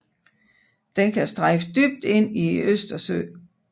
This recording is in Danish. Den kan strejfe dybt ind i Østersøen